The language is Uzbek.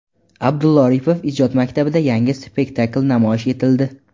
Abdulla Oripov ijod maktabida yangi spektakl namoyish etildi.